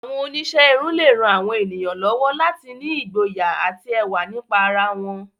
Àwọn oníṣẹ́ irun lè ran àwọn ènìyàn lọ́wọ́ láti ní ìgboyà àti ẹwà nípa ara wọn.